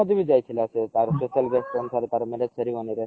ନରେନ୍ଦ୍ର ମୋଦୀ ବ ଯାଇଥିଲା ସେ ତାର ମାନେ ceremony ରେ